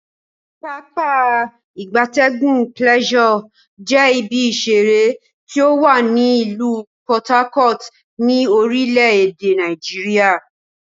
Pápá ìgbatẹ́gùn Pleasure je ibi isere ti owa ni ilu Por Harcourt, ni orile ede Nigeria.